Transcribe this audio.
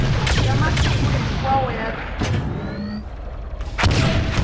ya masiku hinkwawo ya rito